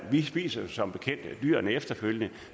vi spiser som bekendt dyrene efterfølgende